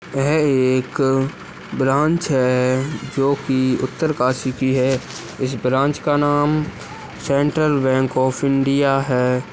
यह एक ब्रांच है जो कि उत्तरकाशी की है इस ब्रांच का नाम सेंट्रल बैंक ओफ इन्ड्या है।